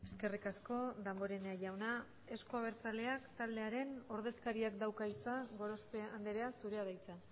eskerrik asko damborenea jauna euzko abertzaleak taldearen ordezkariak dauka hitza gorospe andrea zurea da hitza